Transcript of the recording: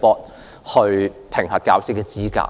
公會，以評核教師資格。